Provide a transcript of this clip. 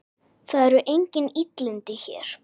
Það eru engin illindi hér.